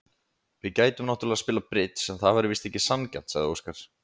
Við gætum náttúrlega spilað bridds en það væri víst ekki sanngjarnt, sagði Óskar.